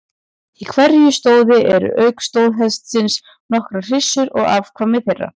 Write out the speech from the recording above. Í hverju stóði eru auk stóðhestsins nokkrar hryssur og afkvæmi þeirra.